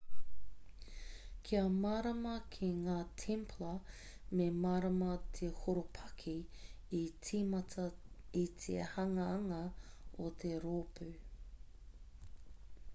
kia mārama ki ngā templar me mārama te horopaki i tīmata i te hanganga o te rōpū